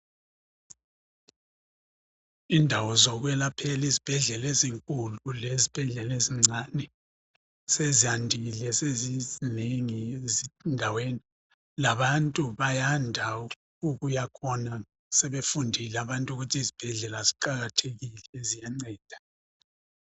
Indawo zokwelaphela ezibhedlela ezinkulu lezibhedlela ezincane sezandile sezizinengi endaweni. Labantu bayanda ukuyakhona sebefundile abantu ukuthi izibhedlela ziqakathekile ziyanceda.